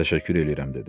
Təşəkkür eləyirəm, dedi.